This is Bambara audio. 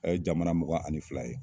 A ye jamana muga ani fila ye